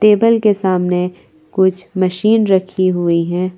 Table के सामने कुछ मशीन रखी हुई है।